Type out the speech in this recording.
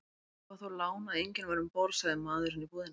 Það var þó lán að enginn var um borð, sagði maðurinn í búðinni.